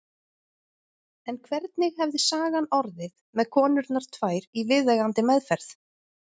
En hvernig hefði sagan orðið með konurnar tvær í viðeigandi meðferð?